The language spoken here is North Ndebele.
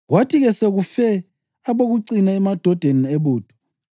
Kwathi-ke sekufe abokucina emadodeni ebutho,